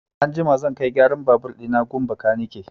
Anjima zan kai gyaran babur ɗina gun bakanike.